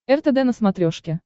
ртд на смотрешке